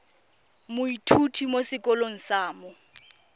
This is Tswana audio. moithuti mo sekolong sa mo